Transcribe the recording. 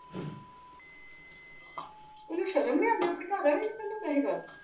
ਉਨੁ ਸ਼ਰਮ ਨਹੀਂ ਆਂਦੀ ਓਹ ਆਪਣੀ ਘਰ ਵਾਲੀ ਨੂ ਕਿਹੰਦਾ ਪੀਆ ਹਿਗਾ